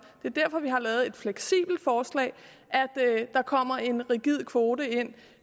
det er derfor vi har lavet et fleksibelt forslag at der kommer en rigid kvote ind